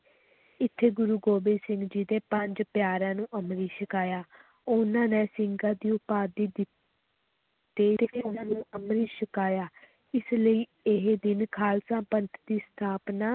ਇੱਥੇ ਗੁਰੂ ਗੋਬਿੰਦ ਸਿੰਘ ਜੀ ਦੇ ਪੰਜ ਪਿਆਰਿਆਂ ਨੂੰ ਅੰਮ੍ਰਿਤ ਛਕਾਇਆ ਉਨ੍ਹਾਂ ਨੇ ਸਿੰਘਾਂ ਦੀ ਉਪਾਧੀ ਦਿੱ ਅੰਮ੍ਰਿਤ ਛਕਾਇਆ, ਇਸ ਲਈ ਇਹ ਦਿਨ ਖ਼ਾਲਸਾ ਪੰਥ ਦੀ ਸਥਾਪਨਾ